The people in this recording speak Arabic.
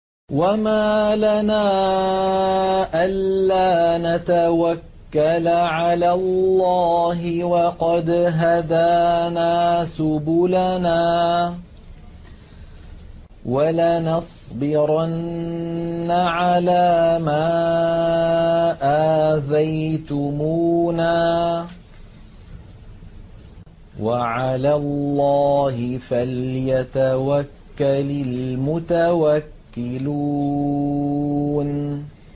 وَمَا لَنَا أَلَّا نَتَوَكَّلَ عَلَى اللَّهِ وَقَدْ هَدَانَا سُبُلَنَا ۚ وَلَنَصْبِرَنَّ عَلَىٰ مَا آذَيْتُمُونَا ۚ وَعَلَى اللَّهِ فَلْيَتَوَكَّلِ الْمُتَوَكِّلُونَ